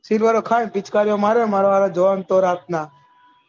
silver ખાય અને પીચ્કારીયો મારા વાળા જોહન તો રાત ના